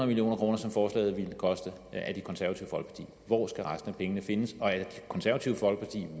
million kr som forslaget ville koste hvor skal resten af pengene findes og er det konservative folkeparti